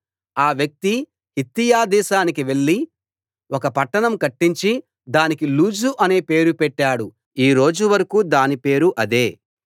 ఆ వ్యక్తి హిత్తీయ దేశానికి వెళ్లి ఒక పట్టణం కట్టించి దానికి లూజు అనే పేరు పెట్టాడు ఈ రోజు వరకూ దాని పేరు అదే